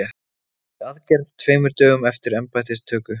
Í aðgerð tveimur dögum eftir embættistöku